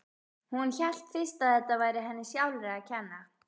Hún hélt fyrst að þetta væri henni sjálfri að kenna.